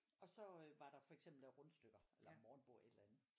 Og så øh var der for eksempel lavet rundstykker eller morgenmbord et eller andet